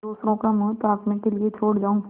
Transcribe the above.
दूसरों का मुँह ताकने के लिए छोड़ जाऊँ